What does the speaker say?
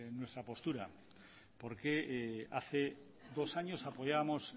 nuestra postura porque hace dos años apoyábamos